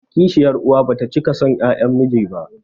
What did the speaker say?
Kishiyar uwa bata cika son 'ƴaƴan miji ba